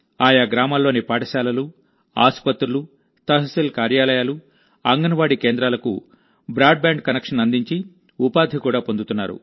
ఆయా గ్రామాల్లోని పాఠశాలలు ఆసుపత్రులు తహసీల్ కార్యాలయాలు అంగన్వాడీ కేంద్రాలకు బ్రాడ్బ్యాండ్ కనెక్షన్ అందించి ఉపాధి కూడా పొందుతున్నారు